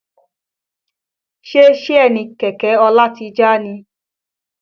Ṣe Síènì kẹ̀kẹ́ Ọlá ti já ni?